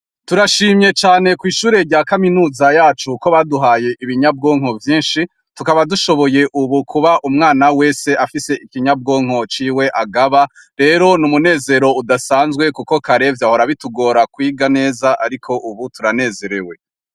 Turashimye cane kw'ishure rya kaminuza yacu ko baduhaye ibinyabwonko vyinshi tukaba dushoboye, ubu kuba umwana wese afise ikinyabwonko ciwe agaba rero ni umunezero udasanzwe, kuko karevye ahora bitugora kwiga neza, ariko, ubu turanezerewe.